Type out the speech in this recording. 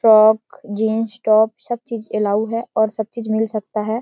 Frock jeans top सब चीज allow है और सब चीज मिल सकता है।